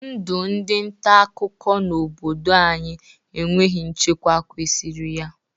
Ndụ ndị ntaakụkọ n'obodo anyị enweghi nchekwa kwesiri ya.